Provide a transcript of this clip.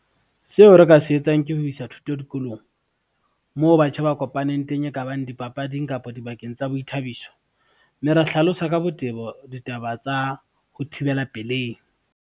Seo re ka se etsang ke ho isa thuto dikolong, moo batjha ba kopaneng teng e kabang dipapading, kapa dibakeng tsa boithabiso, mme ra hlalosa ka botebo ditaba tsa ho thibela pelehi.